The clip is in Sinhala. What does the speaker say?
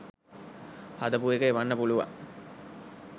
හදපු එක එවන්න පුළුවන්.